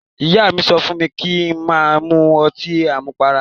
Ìyá mi sọ fún mi kí n má mu ọtí àmupara.